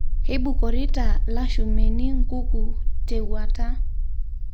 Keibukorita lashumeeni nkuku tewuata